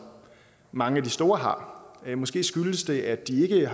mange af de store har måske skyldes det at de